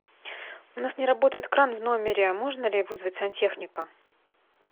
у нас не работает кран в номере можно ли вызвать сантехника